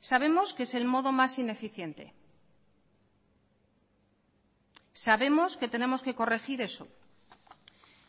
sabemos que es el modo más ineficiente sabemos que tenemos que corregir eso